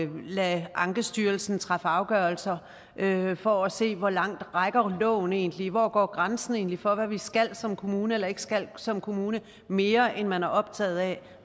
lade ankestyrelsen træffe afgørelser for at se hvor langt loven egentlig hvor grænsen egentlig går for hvad vi skal som kommune eller ikke skal som kommune mere end at man er optaget af